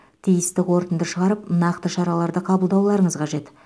тиісті қорытынды шығарып нақты шараларды қабылдауларыңыз қажет